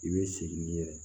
I bɛ sigi n'i yɛrɛ ye